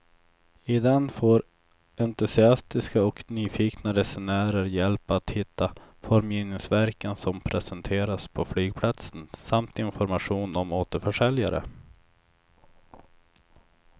I den får entusiastiska och nyfikna resenärer hjälp att hitta formgivningsverken som presenteras på flygplatsen samt information om återförsäljare.